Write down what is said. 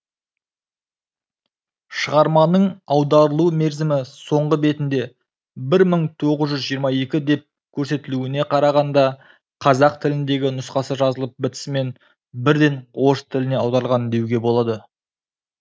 шығарманың аударылу мерзімі соңғы бетінде бір мың тоғыз жүз жиырма екі деп көрсетілуіне қарағанда қазақ тіліндегі нұсқасы жазылып бітісімен бірден орыс тіліне аударылған деуге болады